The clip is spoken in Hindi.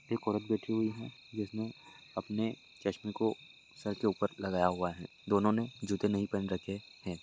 एक औरत बैठी हुई है जिसने अपने चश्मे को सर के ऊपर लगाया हुआ है दोनों ने जूते नहीं पहन रखे हैं।